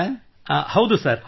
ಯಾರು ವಿನೋಲೆ ಮಾತನಾಡುತ್ತಿದ್ದೀರಾ